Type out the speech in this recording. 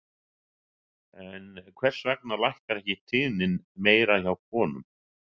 En hvers vegna lækkar ekki tíðnin meira hjá konum?